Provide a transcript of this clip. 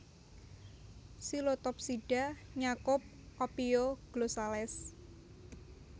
Psilotopsida nyakup Ophioglossales